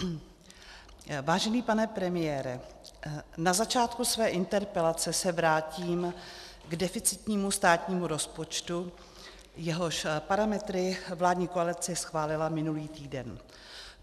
Vážený pane premiére, na začátku své interpelace se vrátím k deficitnímu státnímu rozpočtu, jehož parametry vládní koalice schválila minulý týden.